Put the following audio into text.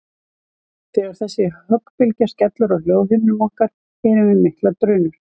Þegar þessi höggbylgja skellur á hljóðhimnum okkar heyrum við miklar drunur.